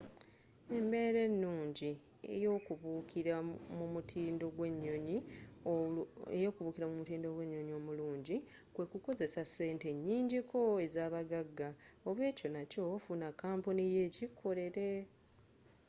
engeri enyangu ey’okubuukira mu mutindo gwe nnyonnyi omullungi kwe kukozesa sente enyinji ko ezabaggagga oba ekyo nakyo funa kampuni yo ekikukolere